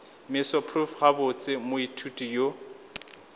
meso prof gabotse moithuti yo